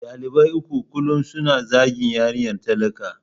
Dalibai uku kullum suna zagin yarinyar talaka.